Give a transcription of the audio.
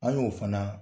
An y'o fana